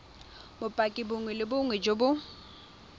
bopaki bongwe le bongwe jo